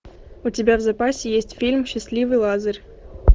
у тебя в запасе есть фильм счастливый лазарь